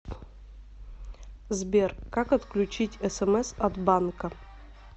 сбер как отключить смс от банка